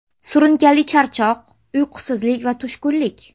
Surunkali charchoq, uyqusizlik va tushkunlik.